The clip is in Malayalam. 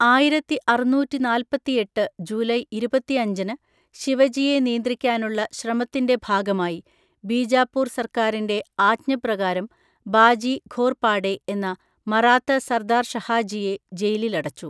ആയിരത്തിഅറുന്നൂറ്റിനാൽപത്തിഎട്ട് ജൂലൈ ഇരുപത്തിഅഞ്ചിന് ശിവജിയെ നിയന്ത്രിക്കാനുള്ള ശ്രമത്തിന്റെ ഭാഗമായി ബീജാപൂർ സർക്കാറിന്റെ ആജ്ഞപ്രകാരം ബാജി ഘോർപാഡെ എന്ന മറാത്ത സർദാർ ഷഹാജിയെ ജയിലിലടച്ചു.